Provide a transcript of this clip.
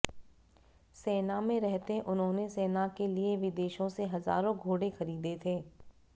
सेना में रहते उन्होंने सेना के लिए विदेशों से हजारों घोड़े खरीदे थे